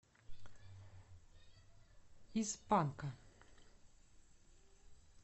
из панка